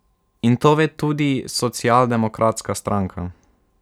In to ve tudi Socialdemokratska stranka.